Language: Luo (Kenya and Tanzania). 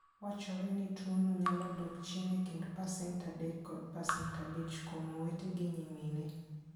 Wachore ni tuwono nyalo dok chien e kind 3% kod 5% kuom owete gi nyimine.